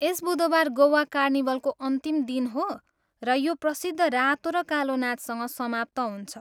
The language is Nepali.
एस बुधबार गोवा कार्निभलको अन्तिम दिन हो र यो प्रसिद्ध रातो र कालो नाचसँग समाप्त हुन्छ।